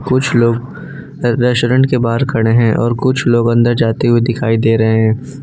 कुछ लोग रेस्टोरेंट के बाहर खड़े है और कुछ लोग अन्दर जाते हुए दिखाई दे रहे हैं।